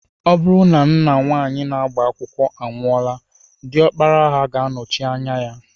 Ọ bụrụ na nna nwaanyị na-agba akwụkwọ anwụọla, diọkpara ha ga-anọchi anya ya